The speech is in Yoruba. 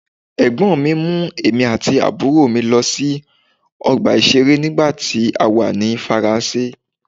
Ẹ̀gbọ́n mi mú èmi àti àbúrò mi lọ sí ọgbà ìṣeré nígbà tí a wà ní Faransé.